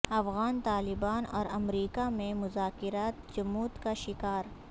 افغان طالبان اور امریکا میں مذاکرات جمود کا شکار